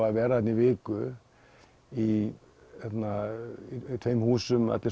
að vera þarna í viku í tveimur húsum allir